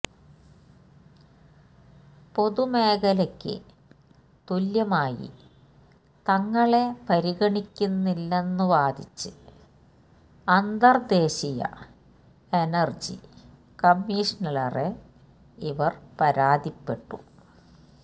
പൊതുമേഖലയ്ക്ക് തുല്യമായി തങ്ങളെ പരിഗണിക്കുന്നില്ലെന്നുവാദിച്ച് അന്തര്ദേശീയ എനര്ജി കമ്മിഷനില്വരെ ഇവര് പരാതിപ്പെട്ടു